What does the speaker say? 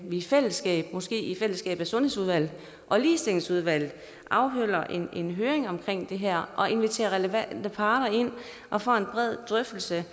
i fællesskab måske i fællesskab mellem sundhedsudvalget og ligestillingsudvalget afholder en høring omkring det her og inviterer relevante parter ind og får en bred drøftelse